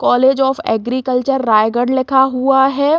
College of agriculture Raigarh लिखा हुआ हैं।